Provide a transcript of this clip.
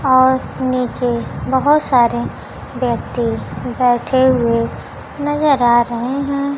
और नीचे बहोत सारे व्यक्ति बैठे हुए नजर आ रहे हैं।